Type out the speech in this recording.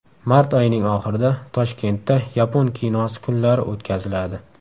Mart oyining oxirida Toshkentda yapon kinosi kunlari o‘tkaziladi.